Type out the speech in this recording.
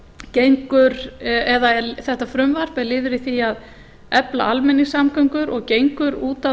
frumvarp er liður í því að efla almenningssamgöngur og gengur út á